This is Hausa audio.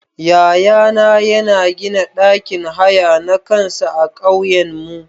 Yaya na yana gina ɗakin haya na kansa a ƙauyanmu.